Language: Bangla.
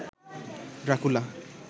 ড্রাকুলা